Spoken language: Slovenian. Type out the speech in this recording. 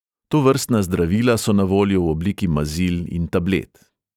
Tovrstna zdravila so na voljo v obliki mazil in tablet.